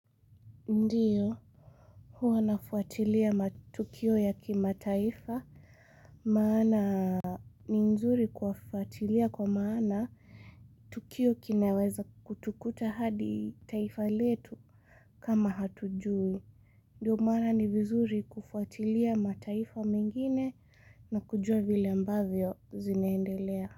Ndiyo, huwa nafuatilia tukio ya kima taifa, maana ni nzuri kuwafuatilia kwa maana tukio kinaweza kutukuta hadi taifa letu kama hatujui. Ndiyo maana ni vizuri kufuatilia mataifa mengine na kujua vile ambavyo zinaendelea.